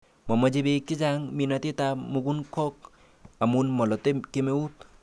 Momoche bek chechang' minetab mukunkok amun molote kemeut.